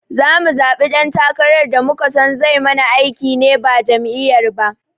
Zamu zaɓi dan takarar da muka son zai mana aiki ne ba jam'iyyar ba